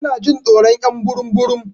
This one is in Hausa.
Tana Jin tsoron y'an burum burum.